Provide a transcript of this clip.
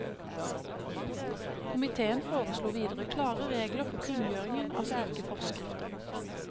Komiteen foreslo videre klare regler for kunngjøringen av slike forskrifter.